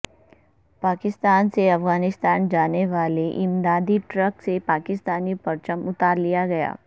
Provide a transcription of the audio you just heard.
پاکستان سے افغانستان جانے والے امدادی ٹرک سے پاکستانی پرچم اتار لیا گیا